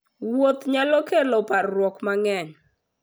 Wuoth nyalo kelo parruok mang'eny.